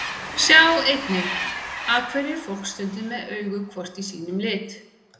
Sjá einnig: Af hverju er fólk stundum með augu hvort í sínum lit?